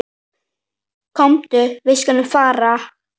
Komdu, við skulum fara.